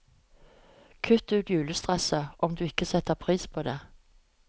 Kutt ut julestresset, om du ikke setter pris på det.